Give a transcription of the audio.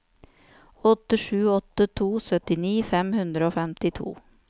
åtte sju åtte to syttini fem hundre og femtito